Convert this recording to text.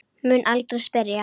Mun aldrei spyrja.